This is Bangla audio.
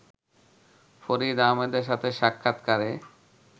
ফরিদ আহমেদের সাথে সাক্ষাৎকারে